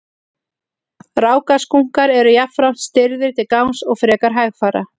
rákaskunkar eru jafnframt stirðir til gangs og frekar hægfara